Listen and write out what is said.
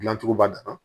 Gilancogo ba de na